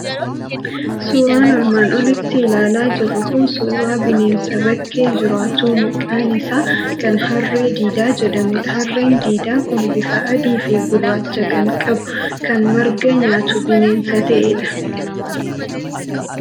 Suuraan armaan olitti ilaalaa jirru kun suuraa bineensa bakkee jiraatu maqaan isaa kan harree diidaa jedhamudha. Harreen diidaa kun bifa adii fi gurraachaa kan qabu, kan marga nyaatu bineensa ta'edha.